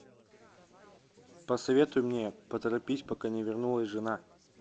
посоветуй мне поторопись пока не вернулась жена